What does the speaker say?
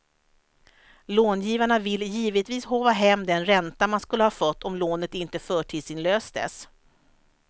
Långivarna vill givetvis håva hem den ränta man skulle ha fått om lånet inte förtidsinlöstes.